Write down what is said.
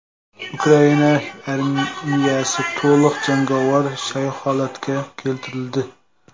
Ukraina armiyasi to‘liq jangovar shay holatga keltirildi.